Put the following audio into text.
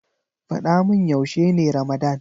Faɗa mun yaushe ne ramadan.